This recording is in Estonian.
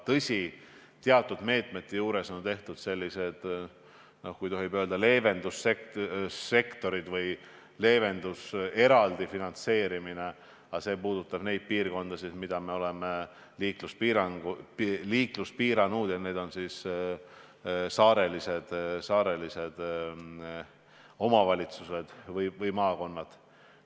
Tõsi, teatud meetmete puhul on ette nähtud sellised, noh, kui tohib öelda, leevendussektorid või selline eraldi finantseerimine, aga see puudutab neid piirkondasid, kus me oleme liiklust piiranud – need on saarelised omavalitsused või maakonnad.